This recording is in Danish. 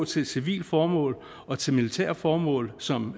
til civile formål og til militære formål som